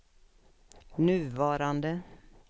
nuvarande